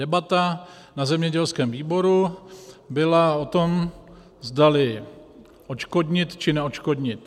Debata na zemědělském výboru byla o tom, zdali odškodnit, či neodškodnit.